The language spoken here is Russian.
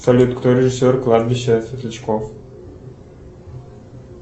салют кто режиссер кладбища светлячков